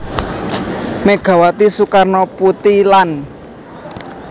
Megawati Soekarnoputri lan